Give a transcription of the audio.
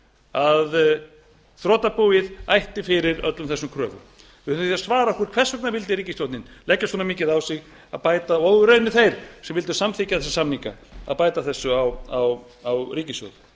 að þrotabúið ætti fyrir öllum þessum kröfum við þurfum því að svara okkur hvers vegna vildi ríkisstjórnin leggja svona mikið á sig að bæta og raunar þeir sem vildu samþykkja þessa samninga að bæta þessu á ríkissjóð